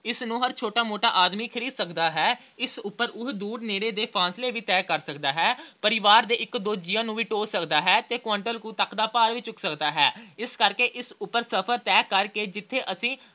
ਇਸਨੂੰ ਹਰ ਛੋਟਾ-ਮੋਟਾ ਆਦਮੀ ਖਰੀਦ ਸਕਦਾ ਹੈ। ਇਸ ਉਪਰ ਉਹ ਦੂਰ ਨੇੜੇ ਦੇ ਫਾਸਲੇ ਵੀ ਤੈਅ ਸਕਦਾ ਹੈ। ਪਰਿਵਾਰ ਦੇ ਇੱਕ ਦੋ ਜੀਆਂ ਨੂੰ ਵੀ ਢੋਅ ਸਕਦਾ ਹੈ ਤੇ quintal ਕੁ ਤੱਕ ਦਾ ਭਾਰ ਵੀ ਚੁੱਕ ਸਕਦਾ ਹੈ। ਇਸ ਕਰਕੇ ਇਸ ਉਪਰ ਸਫਰ ਤੈਅ ਕਰਕੇ ਜਿੱਥੇ ਅਸੀਂ